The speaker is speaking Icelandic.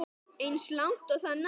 Eins langt og það nær.